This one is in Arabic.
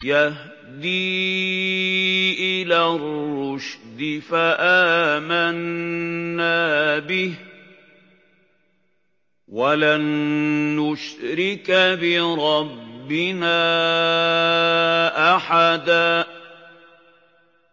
يَهْدِي إِلَى الرُّشْدِ فَآمَنَّا بِهِ ۖ وَلَن نُّشْرِكَ بِرَبِّنَا أَحَدًا